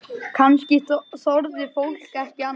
Kannski þorði fólk ekki annað?